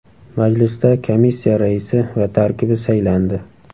Majlisda komissiya raisi va tarkibi saylandi.